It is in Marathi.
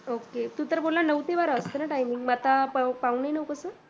Ok तू तर बोलला नऊ ते बारा असते timing मग आता पाउणे नऊ कसं?